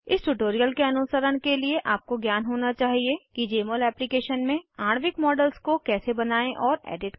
इस ट्यूटोरियल के अनुसरण के लिए आपको ज्ञान होना चाहिए कि जमोल एप्लीकेशन में आणविक मॉडल्स को कैसे बनायें और एडिट करें